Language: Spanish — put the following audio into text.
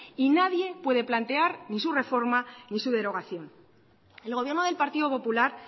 y nadie puede plantear ni su reforma ni su derogación el gobierno del partido popular